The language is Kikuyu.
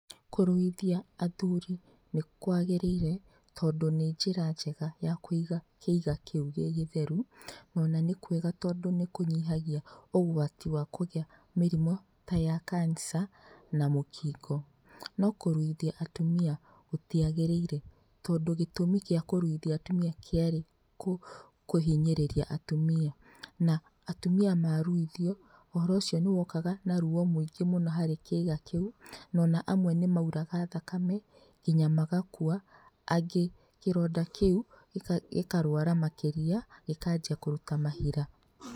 Kũruithia athuri nĩkwagĩrĩire tondũ nĩ njĩra njega ya kũiga kĩiga kĩu gĩgĩtheru onanĩ kwega tondũ nĩ kũnyihagia ũgwati wa kũgĩa mĩrimũ ta ya cancer na mũkingo. No kũrũithia atumia gũtiagĩrĩire tondũ gĩtũmi gĩa kũruithia atumia kĩarĩ kũhinyĩrĩria atumia. Na atumia maruithio ũhoro ũcio nĩ wokaga na ruo rwĩingĩ mũno harĩ kĩiga kĩu o na amwe nĩ maũraga thakame nginya magakua, angĩ kĩronda kĩu gĩkarũara makĩria gĩkanjia kũrũta mahira.